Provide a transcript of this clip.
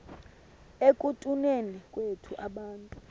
ekutuneni kwethu abantu